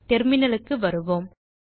terminal க்கு வருவோம்